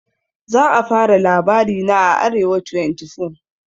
za a fara labarina a arewa24